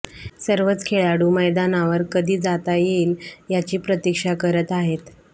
सर्वच खेळाडू मैदावर कधी जाता येईल याची प्रतिक्षा करत आहेत